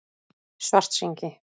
Svartsengi